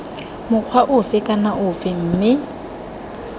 mokgwa ofe kana ofe mme